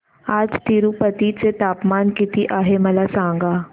आज तिरूपती चे तापमान किती आहे मला सांगा